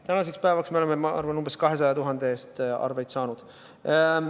Tänaseks päevaks me oleme, ma arvan, umbes 200 000 ulatuses arveid saanud.